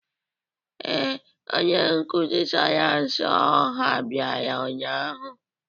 Ee, onye nkuzi sayensị ọha bịara ụnyahụ.